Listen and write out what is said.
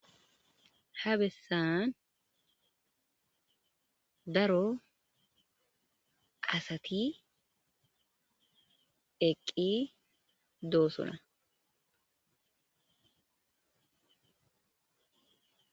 Habesan daro asati eqi do'sona